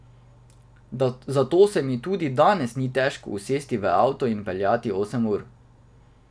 Zato se mi tudi danes ni težko usesti v avto in peljati osem ur.